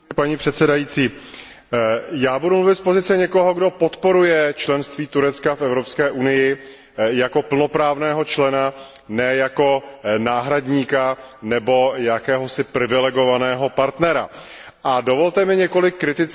Já budu mluvit z pozice někoho, kdo podporuje členství Turecka v Evropské unii jako plnoprávného člena, ne jako náhradníka nebo jakéhosi privilegovaného partnera, a dovolte mi několik kritických slov do vlastních řad.